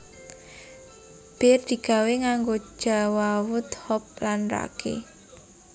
Bir digawé nganggo jawawut hop lan ragi